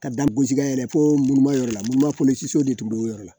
Ka dan bosikɛ yɛrɛ fo mugan yɔrɔ la muru ma de tun b'o yɔrɔ la